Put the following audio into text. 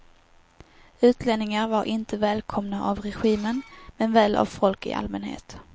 Utlänningar var inte välkomna av regimen, men väl av folk i allmänhet.